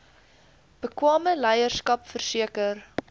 bekwame leierskap verseker